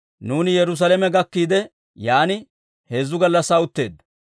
Nuuni Yerusaalame gakkiide, yaan heezzu gallassaa utteeddo.